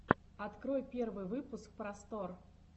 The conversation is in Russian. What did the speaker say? открой первый выпуск просторъ